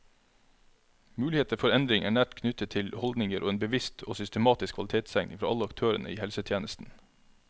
Muligheter for endring er nært knyttet til holdninger og en bevisst og systematisk kvalitetstenkning fra alle aktørene i helsetjenesten.